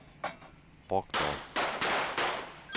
Brockdorff